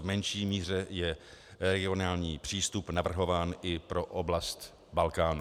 V menší míře je regionální přístup navrhován i pro oblast Balkánu.